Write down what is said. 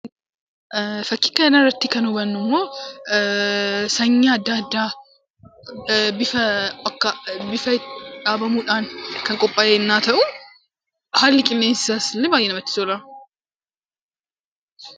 Fakkii kana irratti kan hubannu immoo, sanyii addaa addaa bifa dhaabamuudhaan kan qophaa'e ennaa ta'u, haalli qilleensa isaas illee baayyee namatti tola.